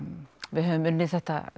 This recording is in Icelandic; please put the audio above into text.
við höfum unnið þetta